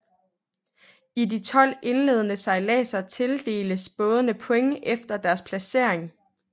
I de 12 indledende sejladser tildeles bådene points efter deres placering